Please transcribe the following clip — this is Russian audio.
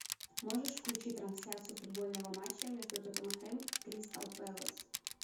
можешь включить трансляцию футбольного матча между тоттенхэм и кристал пэлас